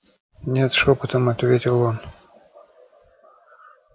нет шёпотом ответил он